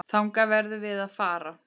Þangað verðum við að fara.